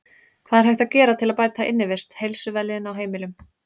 Hvað er hægt að gera til að bæta innivist, heilsu og vellíðan á heimilum?